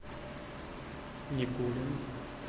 никулин